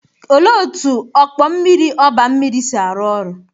Olee otú ọkpọ mmiri oba mmiri si arụ ọrụ?